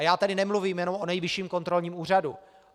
A já tady nemluvím jenom o Nejvyšším kontrolním úřadu.